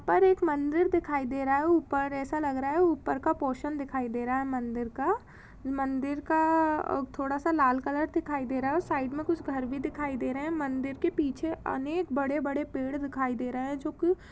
पर एक मंदिर दिखाई दे रहा है ऊपर ऐसा लग रहा है ऊपर पोर्शन दिखाई दे रहा है मंदिर का मंदिर का थोडासा लाल कलर दिखाई दे रहा है और साइड में कुछ घर भी दिखाई दे रहे है मंदिर के पीछे अनेक बड़े-बड़े पेड़ दिखाई दे रहे है जो की--